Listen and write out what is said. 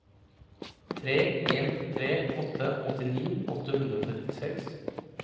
tre en tre åtte åttini åtte hundre og trettiseks